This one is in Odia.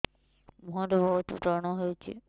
ମୁଁହରେ ବହୁତ ବ୍ରଣ ହଉଛି